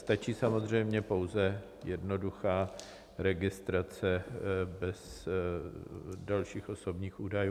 Stačí samozřejmě pouze jednoduchá registrace bez dalších osobních údajů.